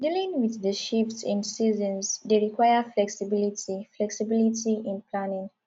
dealing with di shift in seasons dey require flexibility flexibility in planning